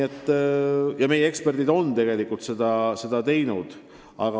Ja meie eksperdid on seda ka teinud.